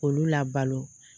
Olu labalo